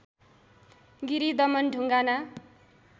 Giri Daman Dhungana